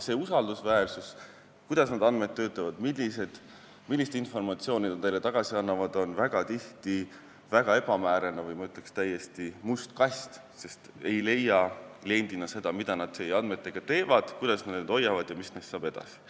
See usaldusväärsus, kuidas need andmed töötavad, millist informatsiooni need teile tagasi annavad, on tihti väga ebamäärane või, ma ütleks, täiesti "must kast", sest teie kliendina ei leia seda, mida nad teie andmetega teevad, kuidas nad neid hoiavad ja mis neist edasi saab.